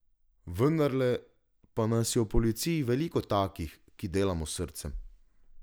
Vendarle pa nas je v policiji veliko takih, ki delamo s srcem.